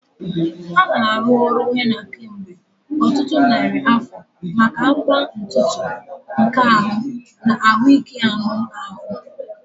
A na-arụ ọrụ Henna kemgbe ọtụtụ narị afọ maka agba ntutu, nka ahụ, na ahụike anụ ahụ.